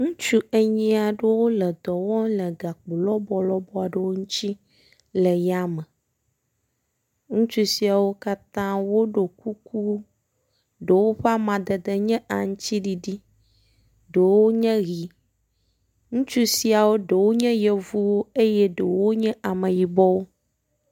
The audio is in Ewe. Ŋutsu enyi aɖewo wo le dɔ wɔm le gakpo lɔbɔlɔbɔ aɖewo ŋutsi le ya me. Ŋutsu siawo katã woɖo kuku ɖewo ƒe amadede nye aŋtsiɖiɖi, ɖewo nye ʋi. Ŋutsu siawo ɖewo nye yevuwo eye ɖewo nye ameyibɔwo.